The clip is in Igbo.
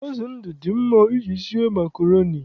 Azụ ndụ dị mma iji sie makroni